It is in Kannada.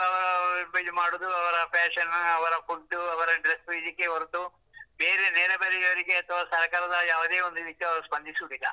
ಅವರು ಅವ್ರ್ ಬೇಜಾರ್ ಮಾಡುದು ಅವರ fashion, ಅವರ food, ಅವರ dress, ಈಗೆ ಹೊರತು ಬೇರೆ ನೆರೆಹೊರೆಯವರಿಗೆ ಅಥವಾ ಸರ್ಕಾರದ ಯಾವುದೇ ಒಂದು ಇದಕ್ಕೆ ಅವರು ಸ್ಪಂದಿಸುದಿಲ್ಲ.